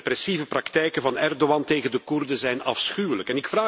De repressieve praktijken van Erdogan tegen de Koerden zijn afschuwelijk.